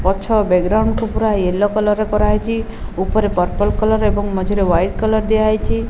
ପଛ ବ୍ୟାଗ୍ରାଉଣ୍ଡ କୁ ପୁରା ୟେଲୋ କଲର୍ ରେ କରାହେଇଚି। ଉପରେ ପର୍ପଲ୍ କଲର୍ ଏବଂ ମଝିରେ ହ୍ୱାଇଟ୍ କଲର୍ ଦିଆ ହେଇଚି।